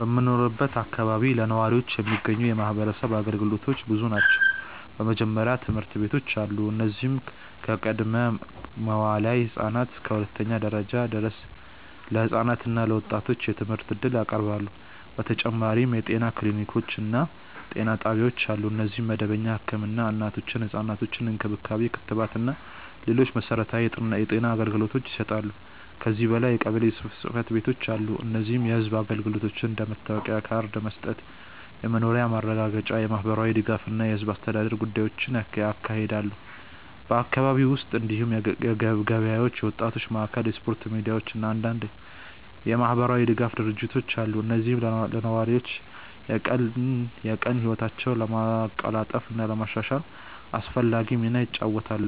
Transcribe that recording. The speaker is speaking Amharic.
በምኖርበት አካባቢ ለነዋሪዎች የሚገኙ የማህበረሰብ አገልግሎቶች ብዙ ናቸው። በመጀመሪያ ትምህርት ቤቶች አሉ፣ እነዚህም ከቅድመ-መዋዕለ ህፃናት እስከ ሁለተኛ ደረጃ ድረስ ለህፃናት እና ለወጣቶች የትምህርት እድል ያቀርባሉ። በተጨማሪም የጤና ክሊኒኮች እና ጤና ጣቢያዎች አሉ፣ እነዚህም መደበኛ ህክምና፣ እናቶችና ህፃናት እንክብካቤ፣ ክትባት እና ሌሎች መሠረታዊ የጤና አገልግሎቶችን ይሰጣሉ። ከዚህ በላይ የቀበሌ ጽ/ቤቶች አሉ፣ እነዚህም የህዝብ አገልግሎቶችን እንደ መታወቂያ ካርድ መስጠት፣ የመኖሪያ ማረጋገጫ፣ የማህበራዊ ድጋፍ እና የህዝብ አስተዳደር ጉዳዮችን ያካሂዳሉ። በአካባቢው ውስጥ እንዲሁም ገበያዎች፣ የወጣቶች ማዕከላት፣ የስፖርት ሜዳዎች እና አንዳንድ የማህበራዊ ድጋፍ ድርጅቶች አሉ፣ እነዚህም ለነዋሪዎች የቀን ቀን ህይወታቸውን ለማቀላጠፍ እና ለማሻሻል አስፈላጊ ሚና ይጫወታሉ።